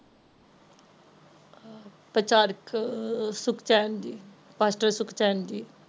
ਪ੍ਰਚਾਰ ਚ ਸੁਖਚੇਨ ਜੀ ਮਾਸਟਰ ਸੁਖਚੈਨ ਜੀ